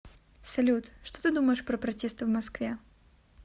салют что ты думаешь про протесты в москве